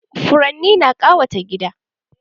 Furanni na ƙawata gida